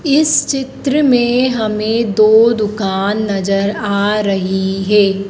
इस चित्र में हमें दो दुकान नजर आ रही है।